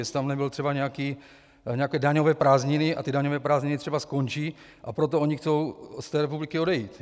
Jestli tam nebyly třeba nějaké daňové prázdniny a ty daňové prázdniny třeba skončí, a proto oni chtějí z té republiky odejít.